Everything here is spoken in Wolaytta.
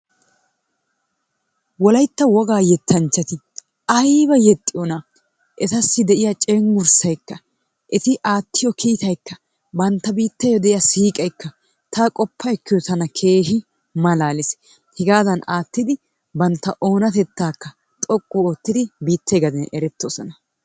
Wolaytta wogaa yettanchchati ayba yexxiyonaa? Etassi de'iya cenggurssaykka eti aattiyo kiitaykka bantta biittee diya siiqeekka ta qoppa ekkiyazan tana kkeehi malaalees. Hegaadankka aattidi bantta oonatettaakka xoqqu oottidi biittee gaxen erettoosona.